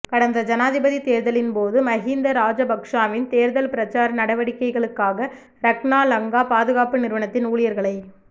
கடந்த ஜனாதிபதி தேர்தலின் போது மஹிந்த ராஜபக்சவின் தேர்தல் பிரச்சார நடவடிக்கைகளுக்காக ரக்னா லங்கா பாதுகாப்பு நிறுவனத்தின் ஊழியர்களை